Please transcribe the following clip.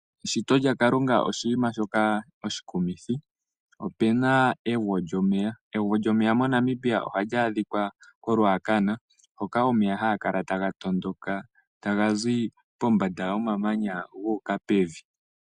Eshito lyaKalunga oshinima shoka oshikumithi. Opuna egwo lyomeya. Egwo lyomeya MoNamibia ohali adhika koRuacana, hoka omeya haga kala taga tondoka taga zi pombanda yomamanya, gu uka pevi.